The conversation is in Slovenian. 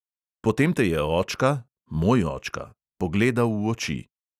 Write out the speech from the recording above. Potem te je očka (moj očka) pogledal v oči.